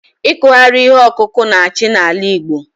Ikughari ihe ọkụkụ na-achị n'ala Igbo